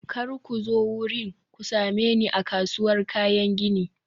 kar ku zo wurin, ku same ni a kasuwar kayan gini.